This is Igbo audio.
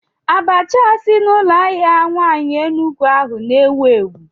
Abacha a si n'ụlọ ahịa nwaanyị Enugwu ahu na-ewu ewu?